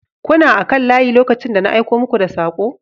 kuna kan layi lokacin da na aiko muku da sakon